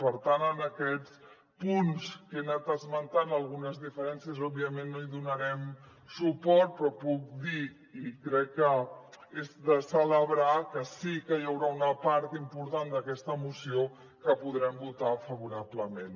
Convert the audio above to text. per tant en aquests punts que he anat esmentant algunes diferències òbviament no hi donarem suport però puc dir i crec que és de celebrar que sí que hi haurà una part important d’aquesta moció que podrem votar favorablement